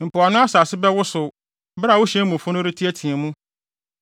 Mpoano asase bɛwosow bere a wo hyɛn mufo no reteɛteɛ mu.